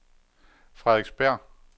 Frederiksberg